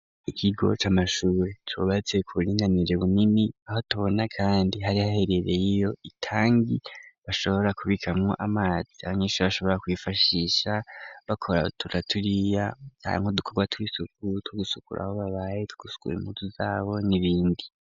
Ikigoca c'amashure cubatse ku buringa bunini aho tubona kandi hari haherereye iyo itangi bashobora kubikamwo amazi abanyesure bashobora kw'ifashisha bakora turya na turiya canke udukorwa tw'isuku two gusukura aho babaye two gusukura impuzu zabo n'ibindi.